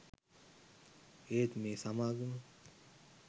ඒත් මේ සමාගම